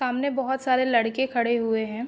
सामने बहुत सारे लड़के खड़े हुए हैं।